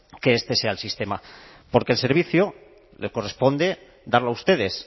que este sea el sistema porque el servicio le corresponde darlo a ustedes